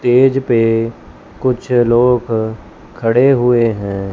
Stage पे कुछ लोग खड़े हुए हैं।